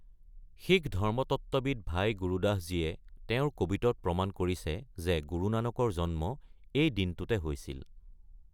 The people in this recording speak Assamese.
শিখ ধৰ্মতত্ত্ববিদ ভাই গুৰদাস জীয়ে তেওঁৰ 'কবিট'ত প্ৰমাণ কৰিছে যে গুৰু নানকৰ জন্ম এই দিনটোতে হৈছিল।